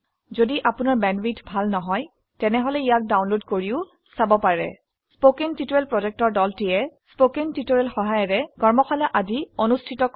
আপোনাৰ ঘদি ভাল বেন্দৱিথ নাই তেনেহলে ইয়াকডাউনলড কৰিও চাব পাৰে। কথ্য টিউটোৰিয়াল প্ৰকল্প দল কথ্য টিউটোৰিয়াল ব্যবহাৰ কৰে কৰ্মশালাৰ আয়োজন কৰে